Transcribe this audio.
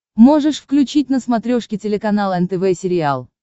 можешь включить на смотрешке телеканал нтв сериал